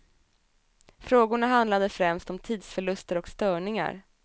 Frågorna handlade främst om tidsförluster och störningar.